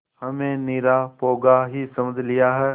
हमें निरा पोंगा ही समझ लिया है